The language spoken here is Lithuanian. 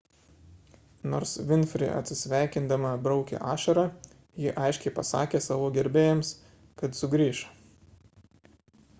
nors vinfri atsisveikindama braukė ašarą ji aiškiai pasakė savo gerbėjams kad sugrįš